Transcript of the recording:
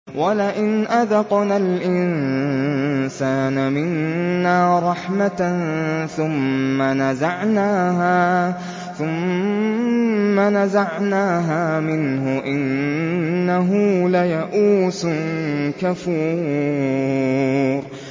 وَلَئِنْ أَذَقْنَا الْإِنسَانَ مِنَّا رَحْمَةً ثُمَّ نَزَعْنَاهَا مِنْهُ إِنَّهُ لَيَئُوسٌ كَفُورٌ